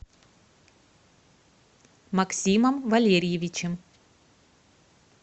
максимом валерьевичем